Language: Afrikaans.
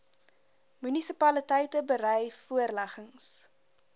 munisipaliteite berei voorleggings